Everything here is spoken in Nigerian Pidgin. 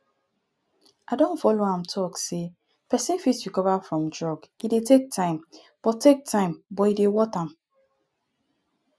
i don follow am talk sey pesin fit recover from drug e dey take time but take time but e dey worth am